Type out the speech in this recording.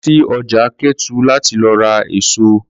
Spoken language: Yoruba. Lọ sí ọjà Kétu láti lọ ra èso!